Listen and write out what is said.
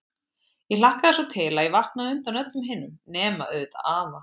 Ég hlakkaði svo til að ég vaknaði á undan öllum hinum, nema auðvitað afa.